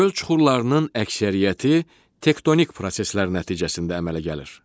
Göl çuxurlarının əksəriyyəti tektonik proseslər nəticəsində əmələ gəlir.